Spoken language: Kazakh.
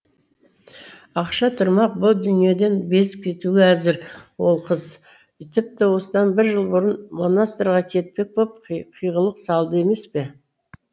ақша тұрмақ бұ дүниеден безіп кетуге әзір ол қыз тіпті осыдан бір жыл бұрын монастырьға кетпек боп қиғылық салды емес пе